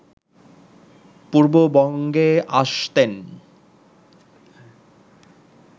পূর্ববঙ্গে আসতেন